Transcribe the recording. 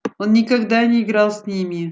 он никогда не играл с ними